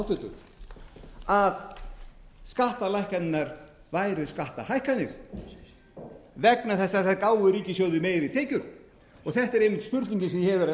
háttvirta að skattalækkanirnar væru skattahækkanir vegna þess að þær gáfu ríkissjóði meiri tekjur þetta er einmitt spurningin